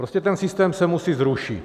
Prostě ten systém se musí zrušit.